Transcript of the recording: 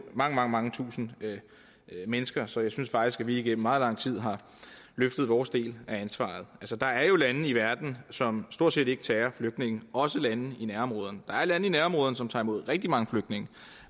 mange mange mange tusinde mennesker så jeg synes faktisk at vi igennem meget lang tid har løftet vores del af ansvaret der er jo lande i verden som stort set ikke tager imod flygtninge også lande i nærområderne der er lande i nærområderne som tager imod rigtig mange flygtninge